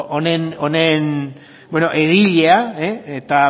egilea eta